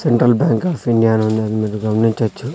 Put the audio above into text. central bank of India అనుంది అది మీరు గమనించొచ్చు--